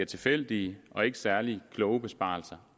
tilfældige og ikke særlig kloge besparelser